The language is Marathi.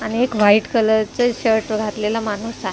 आणि एक व्हाईट कलर च शर्ट घातलेला माणूस आहे.